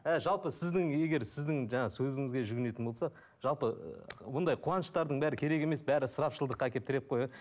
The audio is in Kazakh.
і жалпы сіздің егер сіздің жаңағы сөзіңізге жүгінетін болсақ жалпы мұндай қуаныштардың бәрі керек емес бәрі ысырапшылдыққа әкеліп тіреп қояды